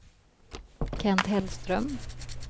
Kent Hellström